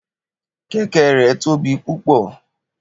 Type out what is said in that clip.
Keke rẹ tobi pupọ